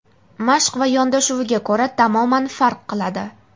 mashq va yondashuviga ko‘ra tamoman farq qiladi.